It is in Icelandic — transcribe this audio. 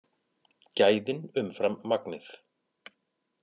Gæðin umfram magnið